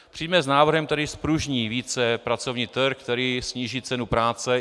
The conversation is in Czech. Přijďme s návrhem, který zpružní více pracovní trh, který sníží cenu práce.